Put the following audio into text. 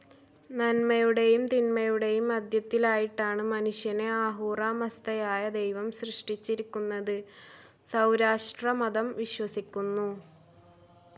നന്മയുടെയും തിന്മയുടെയും മധ്യത്തിലായിട്ടാണ് മനുഷ്യനെ അഹൂറ മസ്ദയായ ദൈവം സൃഷ്ടിച്ചിരിക്കുന്നതെന്ന് സൗരാഷ്ട്രമതം വിശ്വസിക്കുന്നു.